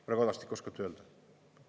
Härra Kadastik, oskate öelda?